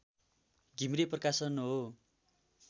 घिमिरे प्रकाशन हो